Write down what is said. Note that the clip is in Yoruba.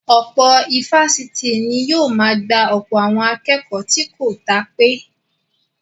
Ọ̀pọ̀ ifásitì ni yóò máa gba ọ̀pọ̀ àwọn akẹ́kọ̀ọ́ tó kò dá pé